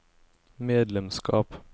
medlemskap